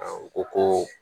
Aw ko ko